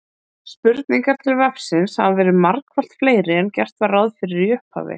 Spurningar til vefsins hafa verið margfalt fleiri en gert var ráð fyrir í upphafi.